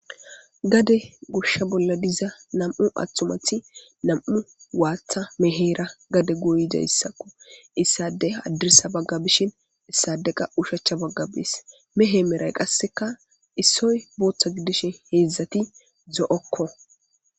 Gade gosha bolla diza nam'u atumat nam'u watha mehera gade goyizaysako. Issadey hadirsa baga bishn issadey qas oshicha baga bes.mehe Meray qaseka issoy bootha gidishe hezdzdati zo'oko.